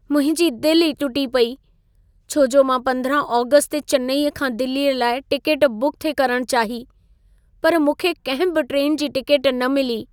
मुंहिंजी दिल ई टुटी पेई, छो जो मां 15 आगस्त ते चेन्नई खां दिल्लीअ लाइ टिकेट बुक थिए करण चाही, पर मूंखे कंहिं बि ट्रेन जी टिकेट न मिली।